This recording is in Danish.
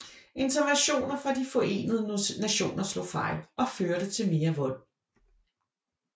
Interventioner fra de Forenede Nationer slog fejl og førte til mere vold